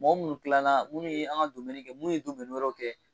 Mɔgɔ minnu tilala minnu ye an ka kɛ minnuu ye wɛrɛ kɛ.